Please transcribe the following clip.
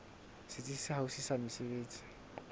setsi se haufi sa mesebetsi